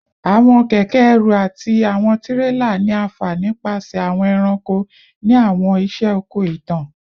Awọn kẹkẹ-ẹrù ati awọn tirela ni a fa nipasẹ awọn ẹranko ni awọn iṣẹ oko itan